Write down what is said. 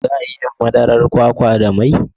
Za a iya yin madarar kwakwa da mai?